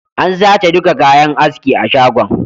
An sace duka kayan haski a shagon